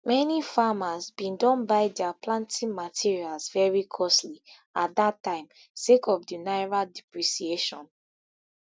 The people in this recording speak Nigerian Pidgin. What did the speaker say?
many farmers bin don buy dia planting materials very costly at dat time sake of di naira depreciation